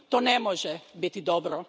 To ne može biti dobro.